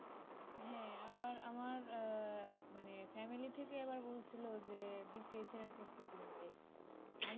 হ্যাঁ আবার আমার আহ মানে family থেকে আবার বলছিল যে বিসিএস এর প্রস্তুতি নিতে